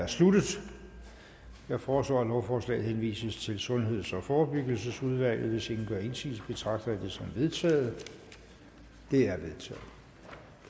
er sluttet jeg foreslår at lovforslaget henvises til sundheds og forebyggelsesudvalget hvis ingen gør indsigelse betragter det som vedtaget det